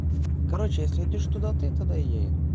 короче если идёшь туда ты туда и я иду